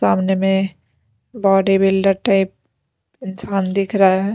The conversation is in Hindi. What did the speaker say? सामने में बॉडी बिल्डर टाइप इंसान दिख रहा है।